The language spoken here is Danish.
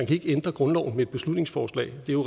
kan ændre grundloven med et beslutningsforslag det er